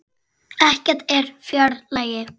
Ekkert er fjær lagi.